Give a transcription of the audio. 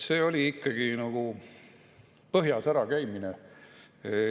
See oli ikkagi nagu põhjas ära käimine.